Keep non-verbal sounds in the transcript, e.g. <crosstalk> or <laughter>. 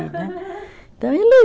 né. <laughs> Então ele